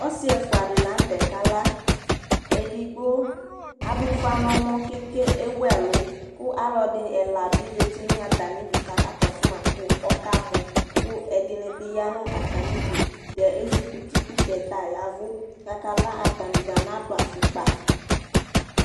ɔsi ɛfua di lantɛ ka la edigbo adʋ ʋfa nɛmɔ kɛkɛ ɛwʋɛlʋ kʋ alʋɛdi ɛla bi zɛti nʋ atani dʋ kʋ aka kɔsɔ ma kʋ ɔka mɔ kʋ ɛdini bi ya nʋ atani dʋ tɛ ɛzukuti kʋ tɛ tayavʋ kʋ aka la atani dza na dʋ afʋkpa